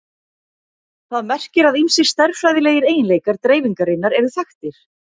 Það merkir að ýmsir stærðfræðilegir eiginleikar dreifingarinnar eru þekktir.